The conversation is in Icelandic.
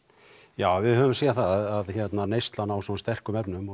já við höfum séð það að neysla á sterkum efnum og